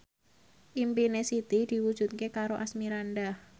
impine Siti diwujudke karo Asmirandah